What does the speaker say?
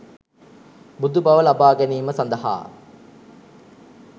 බුදු බව ලබා ගැනීම සඳහා